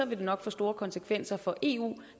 vil det nok få store konsekvenser for eu